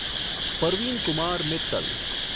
Parveen Kumar Mittal